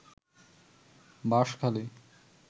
Banshkhali